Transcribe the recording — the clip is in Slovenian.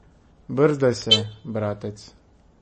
Brzdaj se, bratec.